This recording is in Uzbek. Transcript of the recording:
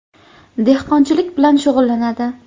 Dehqonchilik bilan shug‘ullanadi.